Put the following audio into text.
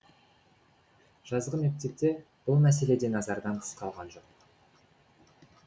жазғы мектепте бұл мәселе де назардан тыс қалған жоқ